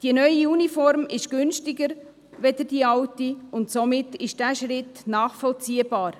Die neue Uniform ist günstiger als die alte, und somit ist dieser Schritt nachvollziehbar.